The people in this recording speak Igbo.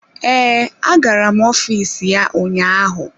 Ee, agara m ọfịs ya ụnyaahụ.